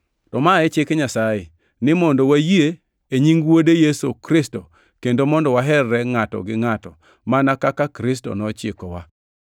To ma e chik Nyasaye: ni mondo wayie e nying Wuode Yesu Kristo kendo mondo waherre ngʼato gi ngʼato, mana kaka Kristo nochikowa.